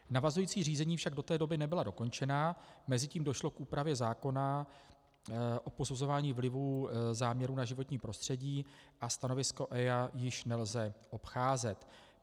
Navazující řízení však do té doby nebyla dokončena, mezitím došlo k úpravě zákona o posuzování vlivů záměrů na životní prostředí a stanovisko EIA již nelze obcházet.